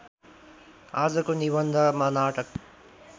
आजको निबन्धमा नाटक